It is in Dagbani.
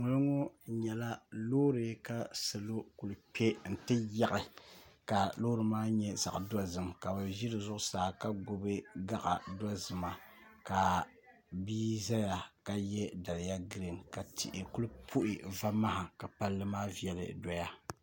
ŋɔlo ŋɔ nyɛla loori ka salo kuli kpe n ti yaɣi ka loori maa nyɛ zaɣ' dozim ka bɛ ʒi di zuɣusaa ka gbibi gaɣ' dozima ka bia zaya ka ye daliya giriin ka tihi kuli puhi vamaha ka palli maa viɛli doya